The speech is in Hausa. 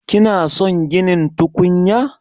Kina son ginin tukunya?